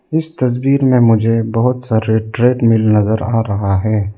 इस तस्वीर में मुझे बहुत सारे ट्रेडमिल नजर आ रहा है।